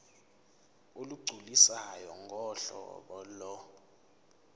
olugculisayo ngohlobo lo